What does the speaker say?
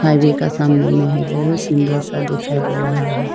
Highway का सामने में है बहोत सुंदर सा दिखाई दे रहा है।